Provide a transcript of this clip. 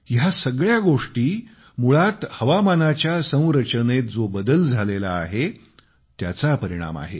या सगळ्या गोष्टी मुळात हवामानाच्या संरचनेत जो बदल झालेला आहे त्याचे परिणाम आहेत